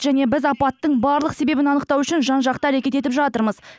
және біз апаттың барлық себебін анықтау үшін жан жақты әрекет етіп жатырмыз